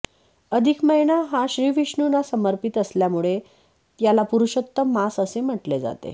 अधिक महिना हा श्रीविष्णूंना समर्पित असल्यामुळे याला पुरुषोत्तम मास असे म्हटले जाते